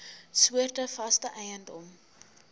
soorte vaste eiendom